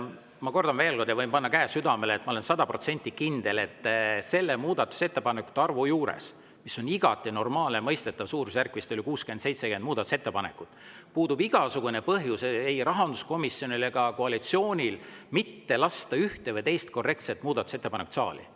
Ma kordan veel – võin panna käe südamele, ma olen sada protsenti kindel –, et selle muudatusettepanekute arvu juures, mis on igati normaalne, mõistetav, vist oli 60–70 muudatusettepanekut, puudub igasugune põhjus rahanduskomisjonil ja ka koalitsioonil mitte lasta ühte või teist korrektset muudatusettepanekut saali.